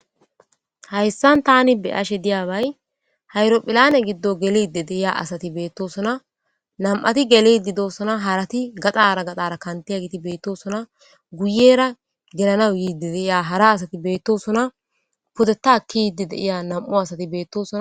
hayssan tani beyashe diyabay hayrophilane giddo gelede deiya asati beettosuna nam7ati geledidosuna harati gaxara gaxara kantiya giti beettosuna guyera gelanaw yiidi deiya hara asati beettosuna puddetaakki yidi deiya nam7u asati beettosuna